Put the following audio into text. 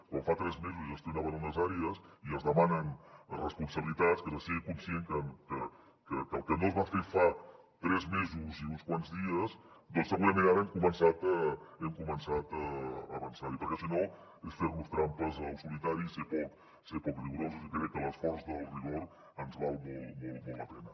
quan fa tres mesos gestionaven unes àrees i es demanen responsabilitats que sigui conscient que el que no es va fer fa tres mesos i uns quants dies doncs segurament ara hem començat a avançar hi perquè si no és fer nos trampes al solitari ser poc rigorosos i crec que l’esforç del rigor ens val molt la pena